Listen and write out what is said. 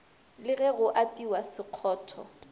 le ge go apewa sekgotho